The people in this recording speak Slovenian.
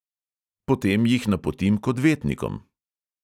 Potem jih napotim k odvetnikom.